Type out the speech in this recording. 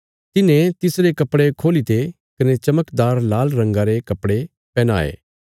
तिन्हे तिसरे कपड़े खोली ते कने चमकदार लाल रंगा रे कपड़े पैहनाये